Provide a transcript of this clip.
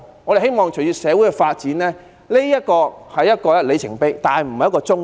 我們希望隨着社會發展，這只是一個里程碑，而不是終點。